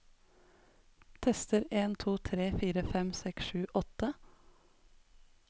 Tester en to tre fire fem seks sju åtte